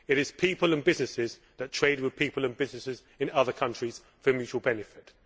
it is people and businesses that trade with people and businesses in other countries for mutual benefit.